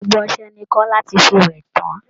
Gbogbo ọsẹ ni Kọ́lá ti fi wẹ̀ tán